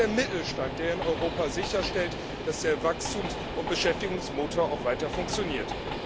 Es ist der Mittelstand, der in Europa sicherstellt, dass der Wachstums und Beschäftigungsmotor weiter funktioniert.